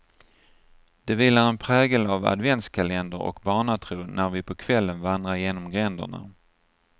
Det vilar en prägel av adventskalender och barnatro när vi på kvällen vandrar genom gränderna.